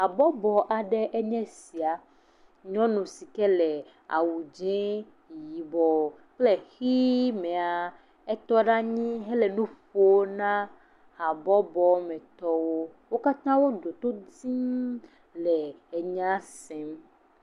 Habɔbɔ aɖee nye esia. Nyɔnu si ke le awu dzẽee, yibɔɔ kple ʋii mea, etɔ ɖe anyii hele nu ƒoo na habɔbɔmetɔwo. Wo katã wo ɖo to tiiiŋ le enyaa sem.